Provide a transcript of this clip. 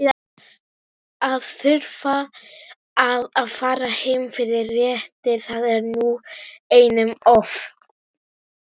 Að þurfa að fara heim fyrir réttir- það var nú einum of.